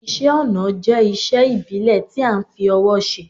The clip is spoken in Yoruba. Isẹ́ ọnà jẹ́isé ìbílẹ̀ ti a n fi owó se